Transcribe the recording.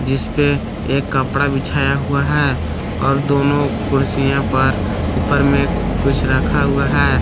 जिसपे एक कपड़ा बिछाया हुआ है और दोनों कुर्सियों पर ऊपर में कुछ रखा हुआ है।